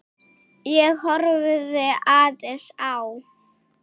Ég horfði aðeins á